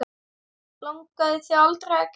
Langaði þig aldrei að grenja?